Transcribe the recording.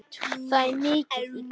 Það er mikið í gangi.